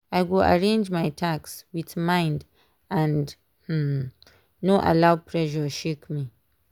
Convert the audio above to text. i go arrange my task with mind and um no allow pressure shake me.